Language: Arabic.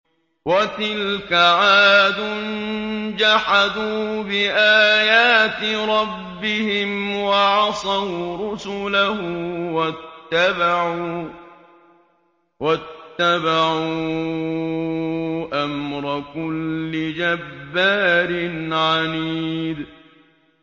وَتِلْكَ عَادٌ ۖ جَحَدُوا بِآيَاتِ رَبِّهِمْ وَعَصَوْا رُسُلَهُ وَاتَّبَعُوا أَمْرَ كُلِّ جَبَّارٍ عَنِيدٍ